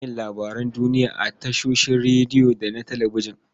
Ana yin labarun duniya a tashoshin rediyo da na talabijin.